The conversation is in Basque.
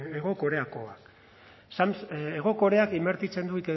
hego koreakoa hego koreak inbertitzen du